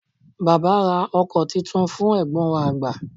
baba ra òko Titun fún egbon wa agba